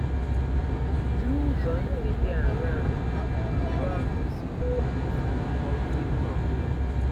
N’ụzọ ndị dị aṅaa ka Iwu ahụ si gosipụta ezi omume ya?